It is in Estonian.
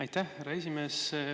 Aitäh, härra esimees!